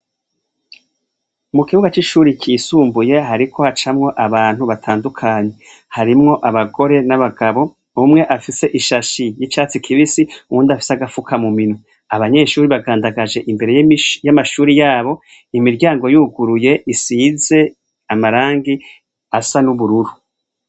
Mu kibuga c'ishure ryisumbuye harimwo hacamwo abantu batandukanye. Abagore n'abagabo, umwe afise ishashi y'icatsi kibisi, uwundi afise agafuka mu minwe. Abanyeshure bagandagaje imbere y'amashure yabo imiryango yuguruye isize amarangi asa n'ubururu